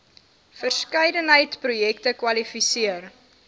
verskeidenheid projekte kwalifiseer